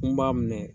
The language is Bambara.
N b'a minɛ